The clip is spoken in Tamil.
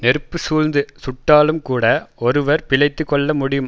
நெருப்புச் சூழ்ந்து சுட்டாலும்கூட ஒருவர் பிழைத்து கொள்ள முடியும்